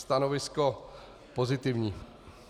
Stanovisko pozitivní.